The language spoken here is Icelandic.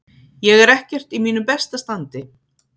Ég er ekkert í mínu besta standi.